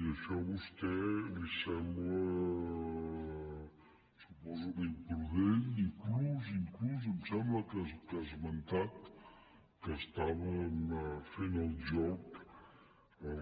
i això a vostè li sembla ho suposo imprudent inclús inclús em sembla que ha esmentat que estàvem fent el joc a